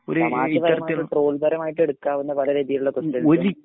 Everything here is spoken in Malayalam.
തമാശ രീതിയിലുള്ള ട്രോള്‍ പരമായിട്ട് എടുക്കാവുന്ന പല രീതിയിലുള്ള ക്വസ്റ്റിന്‍സും